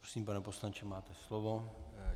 Prosím, pane poslanče, máte slovo.